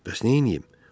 Bəs neyləyim?